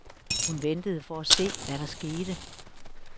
Hun ventede for at se, hvad der skete.